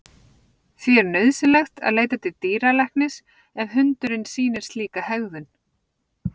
Því er nauðsynlegt að leita til dýralæknis ef hundurinn sýnir slíka hegðun.